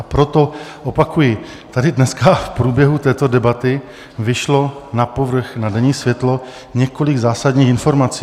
A proto, opakuji, tady dneska v průběhu této debaty vyšlo na povrch, na denní světlo několik zásadních informací.